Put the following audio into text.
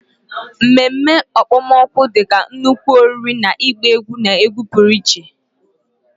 Ememme okpomọkụ dị ka nnukwu oriri na ịgba egwu na egwu pụrụ iche.